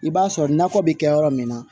I b'a sɔrɔ nakɔ bɛ kɛ yɔrɔ min na